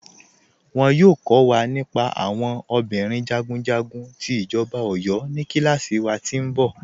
Wọn yọọ kọ̀ wa nípà àwọn obìnrin jagunjagun ti Ijọba Ọ̀yọ̀ ní kílàsí wà tí nbọ̀.